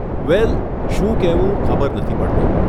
વેલ, શું કહેવું ખબર નથી પડતી.